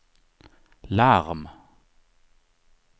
larm